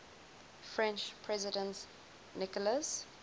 french president nicolas